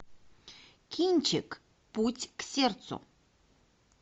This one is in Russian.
кинчик путь к сердцу